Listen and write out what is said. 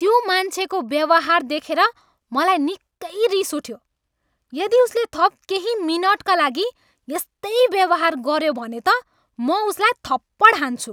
त्यो मान्छेको व्यवहार देखेर मलाई निकै रिस उठ्यो। यदि उसले थप केही मिनटका लागि यस्तै व्यवहार गऱ्यो भने त म उसलाई थप्पड हान्छु।